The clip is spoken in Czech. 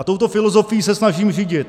A touto filozofií se snažím řídit.